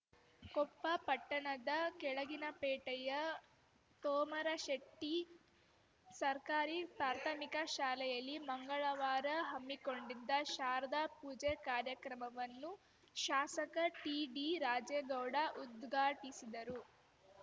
ಕೊಪ್ಪ ಪಟ್ಟಣದ ಕೆಳಗಿನಪೇಟೆಯ ತೋಮರಶೆಟ್ಟಿಸರ್ಕಾರಿ ಪ್ರಾಥಮಿಕ ಶಾಲೆಯಲ್ಲಿ ಮಂಗಳವಾರ ಹಮ್ಮಿಕೊಂಡಿದ್ದ ಶಾರದಾ ಪೂಜೆ ಕಾರ್ಯಕ್ರಮವನ್ನು ಶಾಸಕ ಟಿಡಿ ರಾಜೇಗೌಡ ಉದ್ಘಾಟಿಸಿದರು